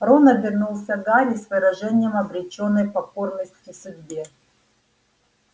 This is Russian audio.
рон обернулся к гарри с выражением обречённой покорности судьбе